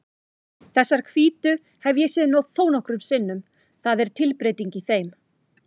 Þessar hvítu hef ég séð þónokkrum sinnum, það er tilbreyting í þeim.